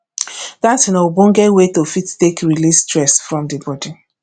dancing na ogbonge way to fit take release stress from di body